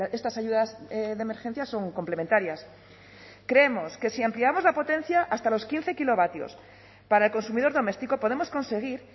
estas ayudas de emergencia son complementarias creemos que si ampliamos la potencia hasta los quince kilovatios para el consumidor doméstico podemos conseguir